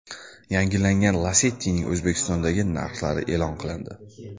Yangilangan Lacetti’ning O‘zbekistondagi narxlari e’lon qilindi.